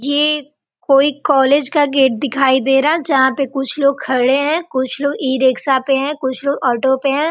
ये कोई कॉलेज का गेट देखाई दे रहा है जहाँ पे कुछ लोग खड़े है कुछ लोग इ रिक्शा पे है कुछ लोग ऑटो पे है।